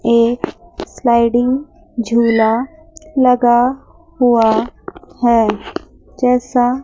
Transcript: एक स्लाइडिंग झूला लगा हुआ है जैसा--